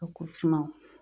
w